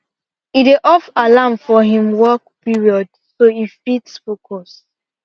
e dey off alarm for him work period so e fit focus